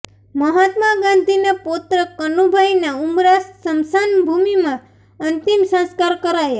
મહાત્મા ગાંધીના પૌત્ર કનુભાઇના ઉમરા સ્મશાનભૂમિમાં અંતિમ સંસ્કાર કરાયા